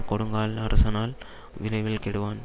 கொடுங்காலன் அரசனானால் விரைவில் கெடுவான்